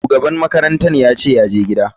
Shugaban makarantar yace yaje gida.